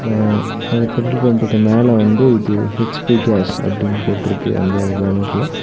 அ அந்த ஃபில்ட்ரு பம்புக்கு மேல வந்து இது ஹச்_பி கேஸ் அப்டினு போட்ருக்கு அந்த பேனர்ல .